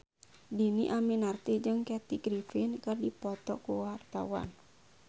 Dhini Aminarti jeung Kathy Griffin keur dipoto ku wartawan